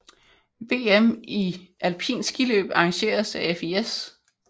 VM i alpint skiløb arrangeret af FIS